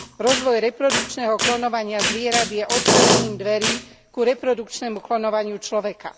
Rozvoj reprodukčného klonovania zvierat je otvorením dverí ku reprodukčnému klonovaniu človeka.